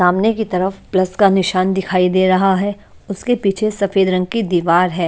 सामने की तरफ प्लस का निशान दिखाई दे रहा है उसके पीछे सफेद रंग की दीवार है।